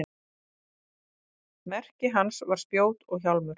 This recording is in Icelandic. merki hans var spjót og hjálmur